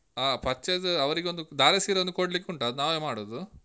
ಹಾ purchase ಅವರಿಗೊಂದು ಧಾರೆ ಸೀರೆ ಒಂದು ಕೊಡ್ಲಿಕುಂಟು, ಅದ್ ನಾವೇ ಮಾಡುದು.